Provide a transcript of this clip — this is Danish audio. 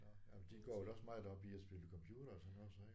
Nåh jamen de går vel også meget op i at spille computer og sådan noget så ik